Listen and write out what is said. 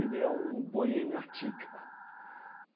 é um boêmio atípico.